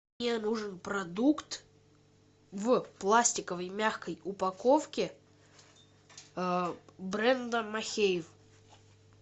мне нужен продукт в пластиковой мягкой упаковке бренда махеев